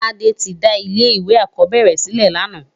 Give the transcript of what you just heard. Tade ti dá ilé iwé ákòbèrè silè làná